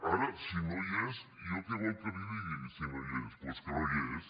ara si no hi és jo què vol que li digui si no hi és doncs que no hi és